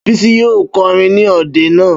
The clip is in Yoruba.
Bísí yóò kọrin ní òde náà